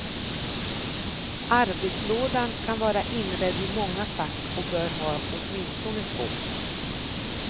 Arbetslådan kan vara inredd i många fack och bör ha åtminstone två.